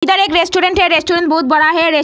इधर एक रेस्टोरेंट है रेस्टोरेंट बहुत बड़ा है रेस --